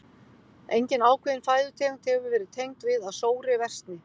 Engin ákveðin fæðutegund hefur verið tengd við að sóri versni.